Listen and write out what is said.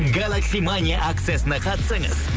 галакси мания акциясына қатысыңыз